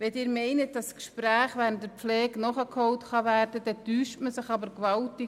– Wenn Sie meinen, dass Gespräche während der Pflege nachgeholt werden können, täuschen Sie sich gewaltig.